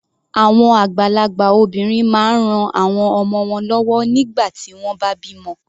Àwọn àgbàlagbà obìnrin máa ń ran àwọn ọmọ wọ́n lọ́wọ́ nígbà tí wọ́n bá bímọ.